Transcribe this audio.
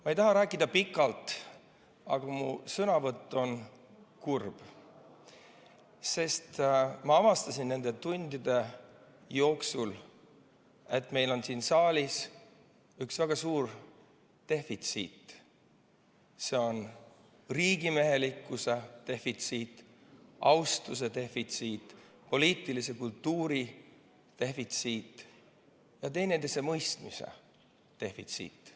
Ma ei taha rääkida pikalt, aga mu sõnavõtt on kurb, sest ma avastasin nende tundide jooksul, et meil on siin saalis väga suur defitsiit: riigimehelikkuse defitsiit, austuse defitsiit, poliitilise kultuuri defitsiit ja teineteise mõistmise defitsiit.